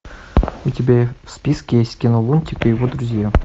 у тебя в списке есть кино лунтик и его друзья